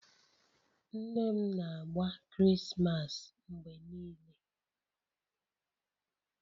Nne m na-agba Krismas mgbe niile